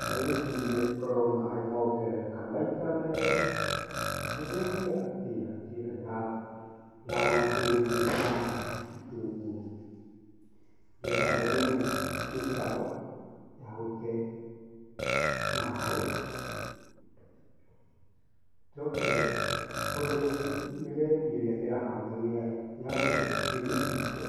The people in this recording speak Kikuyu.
Ta wĩcirie korwo maaĩ mongerereka maita meerĩ, ũngĩcenjia atĩa njĩra yaku ya gũitĩrĩria maaĩ itũngũrũ? Ingĩamba ndeme mĩtaro, ya gũte maĩ, njoke hũthĩre mĩberethi ĩrĩa ndĩrahũthagĩra, nyambe ndĩmĩhinge,